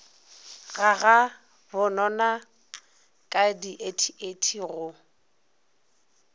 ga gabobona ka diethiethi go